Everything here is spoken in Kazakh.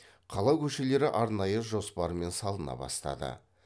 қала көшелері арнайы жоспармен салына бастады